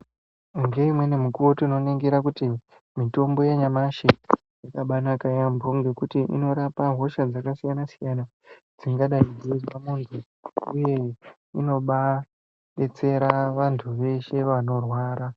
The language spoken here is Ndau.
Ngeimweni mikuwo tinoningira kuti mitombo yanyamashi yakabaanaka yaampho ngekuti inorapa hosha dzakasiyana-siyana dzingadai dzeizwe munthu, uye inobaadetsera vanthu veshe vanorwara.